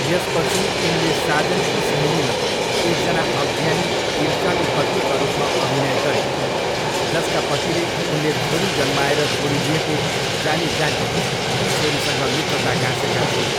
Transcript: यसपछि, उनले साजन की सहेलीमा एकजना अज्ञानी, ईर्ष्यालु पत्नीका रूपमा अभिनय गरिन्, जसका पतिले उनले छोरी जन्माएर छोडिदिएको जानीजानी ती छोरीसँग मित्रता गाँसेका थिए।